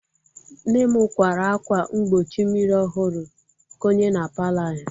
Nne m kwara akwa mgbochi mirimiri ọhụrụ konye na palọ anyị